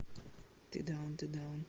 ты даун ты даун